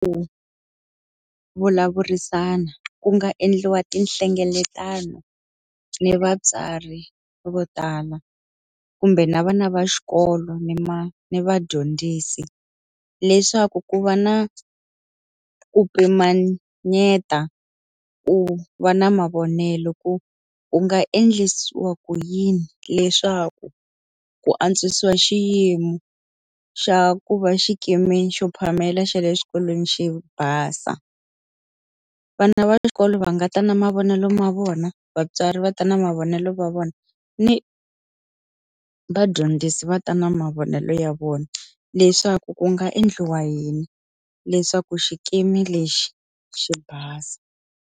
Ku vulavurisana ku nga endliwa tinhlengeletano ni vatswari vo tala kumbe na vana va xikolo ni ni vadyondzisi leswaku ku va na ku pimanyeta, ku va na mavonelo, ku ku nga endlisiwa ku yini leswaku ku antswisiwa xiyimo xa ku va xikimi xo phamela xa le xikolweni xi basa. Vana va xikolo va nga ta na mavonelo ya vona, vatswari va ta na mavonelo ya vona, ni vadyondzisi va ta na mavonelo ya vona. Leswaku ku nga endliwa yini leswaku xikimi lexi xi basa.